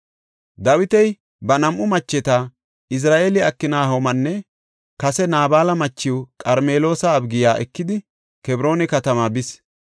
Dawiti ba nam7u macheta, Izira7eele Aknahoomanne kase Naabala machiw Qarmeloosa Abigiya ekidi Kebroona katamaa bis.